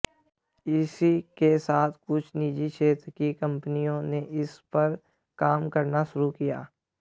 इसी के साथ कुछ निजी क्षेत्र की कंपनियों ने इस पर काम करना शुरू किया